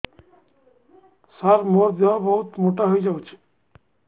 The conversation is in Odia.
ସାର ମୋର ଦେହ ବହୁତ ମୋଟା ହୋଇଯାଉଛି